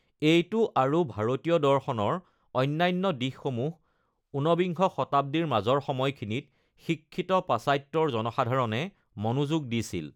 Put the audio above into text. এইটো আৰু ভাৰতীয় দৰ্শনৰ অন্যান্য দিশ সমূহ ঊনবিংশ শতাব্দীৰ মাজৰ সময়খিনিত শিক্ষিত পাশ্চাত্যৰ জনসাধাৰণে মনোযোগ দিছিল।